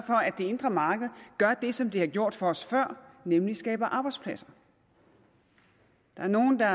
det indre marked gør det som det har gjort for os før nemlig skabe arbejdspladser der er nogle der